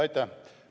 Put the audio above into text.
Aitäh!